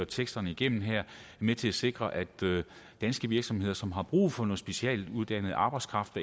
teksterne igennem her er med til at sikre at danske virksomheder som har brug for noget specialuddannet arbejdskraft